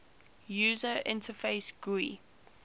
user interface gui